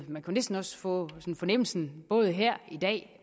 man kunne næsten også få fornemmelsen både her i dag